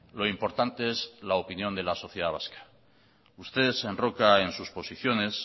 lo importante es la opinión de la sociedad vasca usted se enroca en sus posiciones